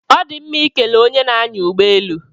Ọ dị mma ikele onye na-anya ụgbọelu